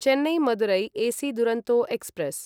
Chennai Madurai AC Duronto express